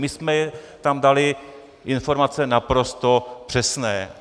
My jsme tam dali informace naprosto přesné!